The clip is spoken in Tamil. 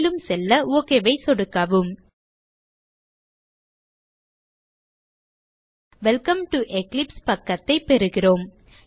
மேலும் செல்ல OK ஐ சொடுக்கவும் வெல்கம் டோ எக்லிப்ஸ் பக்கத்தைப் பெறுகிறோம்